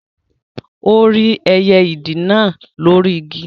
Ó rí ẹyẹ ìdì náà lóri Igi